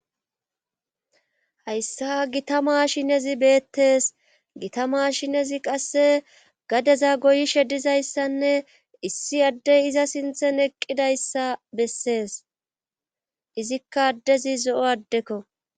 Hayssa gita maashinezi beettees gita mashinezi qasse gadeza goyi sheddizayssanne issi addey iza sinthen eqqidayssa bessees izikka addezi zo7o addekko.